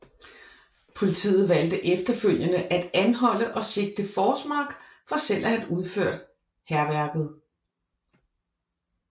Politiet valgte efterfølgende at anholde og sigte Forsmark for selv at have udført hærværket